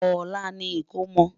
olá ní ikọ̀mò